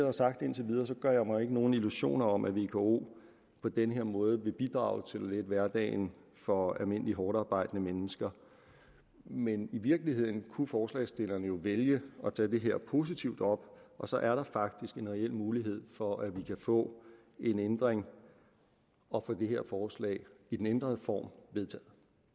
er sagt indtil videre gør jeg mig ikke nogen illusioner om at vko på den her måde vil bidrage til at lette hverdagen for almindelige hårdtarbejdende mennesker men i virkeligheden kunne forslagsstillerne jo vælge at tage det her positivt op og så er der faktisk en reel mulighed for at vi kan få en ændring og få det her forslag i den ændrede form vedtaget